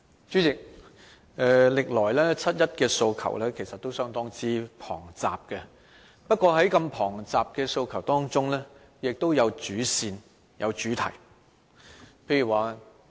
主席，歷來七一的訴求都相當龐雜，但在如此龐雜的訴求中，也有主線，有主題。